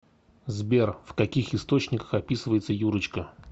сбер в каких источниках описывается юрочка